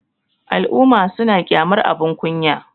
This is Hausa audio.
al'umma suna kyamar abin kunya